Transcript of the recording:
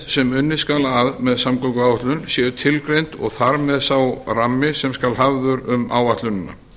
sem unnið skal að með samgönguáætlun séu tilgreind og þar með sá rammi sem skal hafður um áætlunina